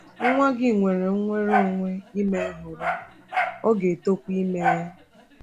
Nwa gị nwere nnwere onwe ime nhọrọ, ọ ga-etokwa ime ya.